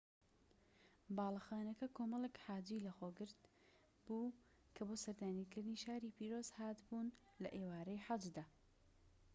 باڵەخانەکە کۆمەڵیک حاجی لەخۆگرت بوو کە بۆ سەردانیکردنی شاری پیرۆز هات بوون لە ئێوارەی حەجدا